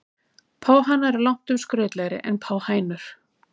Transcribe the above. Páhanar eru langtum skrautlegri en páhænur.